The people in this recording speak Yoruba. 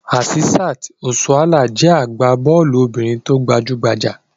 Asisat Osuala jẹ́ agbá-bọ́ọ́lù obìnrin tó gbajú-gbajà.